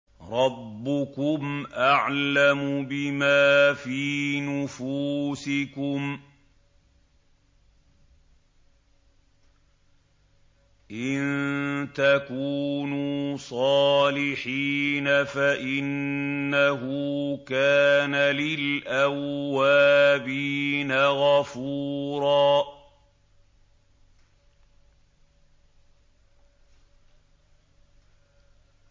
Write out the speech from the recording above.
رَّبُّكُمْ أَعْلَمُ بِمَا فِي نُفُوسِكُمْ ۚ إِن تَكُونُوا صَالِحِينَ فَإِنَّهُ كَانَ لِلْأَوَّابِينَ غَفُورًا